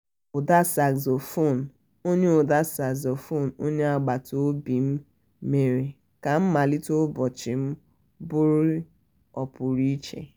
ụda saxophone onye ụda saxophone onye agbata obim mere ka mmalite ụbọchị m bụrụ ọ pụrụ iche